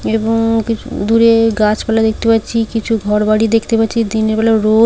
এবং কিছু দূরে গাছপালা দেখতে পাচ্ছি কিছু ঘরবাড়ি দেখতে পাচ্ছি দিনের বেলা রোদ।